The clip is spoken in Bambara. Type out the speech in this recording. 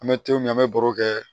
An bɛ to min an bɛ baro kɛ